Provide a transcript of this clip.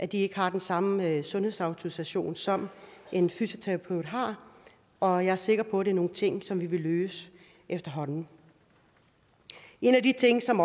de ikke har den samme sundhedsautorisation som en fysioterapeut har og jeg er sikker på at det er nogle ting som vi vil løse efterhånden en af de ting som